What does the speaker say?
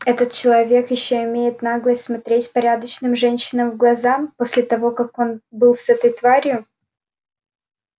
этот человек ещё имеет наглость смотреть порядочным женщинам в глаза после того как он был с этой тварью